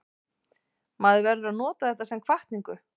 Maður verður að nota þetta sem hvatningu.